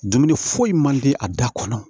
Dumuni foyi man di a da kɔnɔ